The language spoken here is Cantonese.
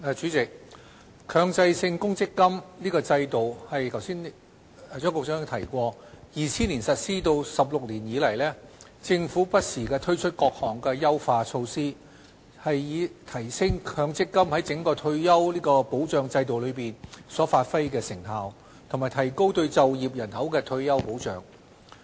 主席，強制性公積金制度自2000年實施16年以來，政府不時推出多項優化措施，以提升強積金在整個退休保障制度所發揮的成效，以及提高對就業人口的退休保障。